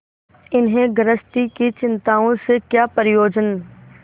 इन्हें गृहस्थी की चिंताओं से क्या प्रयोजन